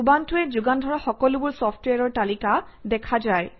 উবুণ্টুৱে যোগান ধৰা সকলোবোৰ চফট্ৱেৰৰ তালিকা দেখা যায়